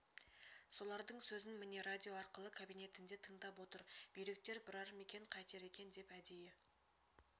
солардың сөзін міне радио арқылы кабинетінде тыңдап отыр бүйректер бұрар ма екен қайтер екен деп әдейі